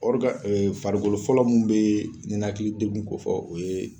ee farikolo fɔlɔ mun be ninakili dekun ko fɔ o ye